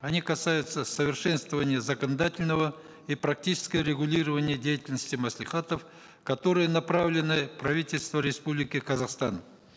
они касаются совершенствования закондательного и практичекого регулирования деятельности маслихатов которые направлены правительству республики казахстан